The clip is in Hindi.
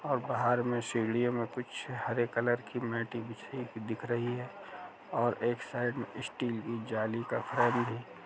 और बाहर में सीढियों में कुछ हरे कलर की मैटे बिछी हुई दिख रही हैं और एक साइड स्टील की जाली का फ्रेम भी है।